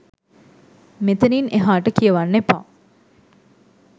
මෙතනින් එහාට කියවන්න එපා